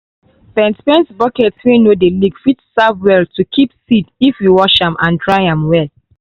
paint paint bucket wey no dey leak fit serve well to keep seed if you wash and dry am well.